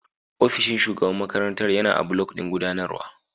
Ofishin Shugaban makarantar yana a block ɗin gudanarwa.